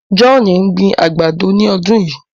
John n gbìn àgbádọ̀ ní ọdún yíí.